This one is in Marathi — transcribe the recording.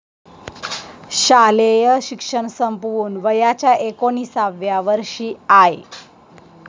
शालेय शिक्षण संपवून वयाच्या एकोणिसाव्या वर्षी आय.